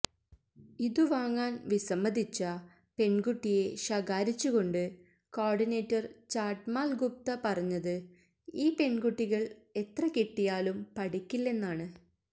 ഇതു വാങ്ങാന് വിസമ്മതിച്ച പെണ്കുട്ടിയെ ശകാരിച്ചു കൊണ്ട് കോഡിനേറ്റര് ചാട്ട്മാല് ഗുപ്ത പറഞ്ഞത് ഈ പെണ്കുട്ടികള് എത്ര കിട്ടിയാലും പഠിക്കില്ലെന്നാണ്